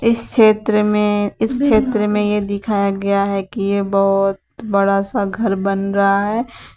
इस क्षेत्र में इस क्षेत्र में ये दिखाया गया है कि ये बहोत बड़ा सा घर बन रहा है।